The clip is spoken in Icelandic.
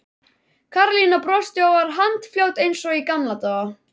Karólína brosti og var handfljót eins og í gamla daga.